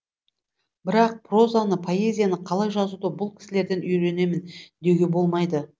бірақ прозаны поэзияны қалай жазуды бұл кісілерден үйренемін деуге болмайды